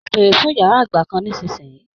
Mo bèrè fún yàrá àgbà kán nisinyi!